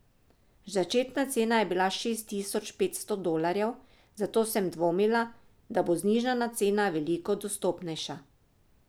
Začetna cena je bila šest tisoč petsto dolarjev, zato sem dvomila, da bo znižana cena veliko dostopnejša.